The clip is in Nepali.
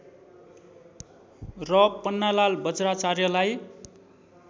र पन्नालाल वज्राचार्यलाई